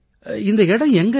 இந்த இடம் எங்க இருக்கு